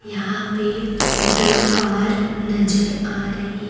यहां पे दो कार नजर आ रही--